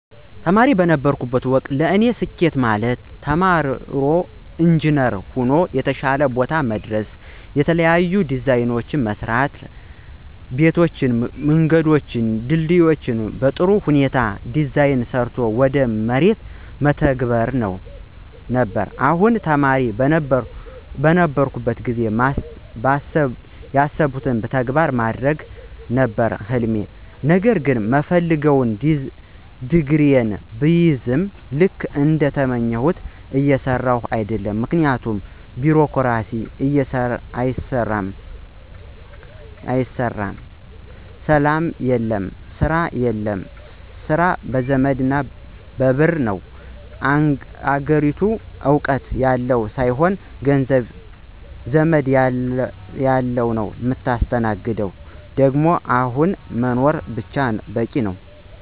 ተማሪ በነበርሁበት ወቅት ለኔ ስኬት ማለት ተምሮ ኢንጅነር ሆኖ የተሻለ ቦታ መድረስና የተለያዩ ዲዛይኖችን መስራትያላቸው ቤቶችን፣ መንገዶችን፣ ድልድዮችን በጥሩ ሁኔታ ዲዛይን ሰርቶ ወደ መሬት መተግበር ነበር፣ አሁንም ተማሪ በነበርሁበት ጊዜ ማስበውን ተግባራዊ ማድረግ ነበር ህልሜ ነገር ግን በምፈልገው ዲግሪየን ብይዝም ልክ እንደተመኘሁት እየሰራሁ አደለም ምክንያቱም ቢሮክራሲው አያሰራም፣ ሰላም የለም፣ ስራ የለም፣ ስራ በዘመድና በብር ነው፣ አገሪቱ እውቀት ያለው ሳይሆን ገንዘብ፣ ዘመድ ላለው ነው ምታስተናግደው ደግሞ አሁን መኖር ብቻ በቂ ነው።